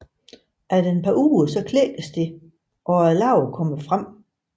Efter et par uger klækkes det og larven kommer frem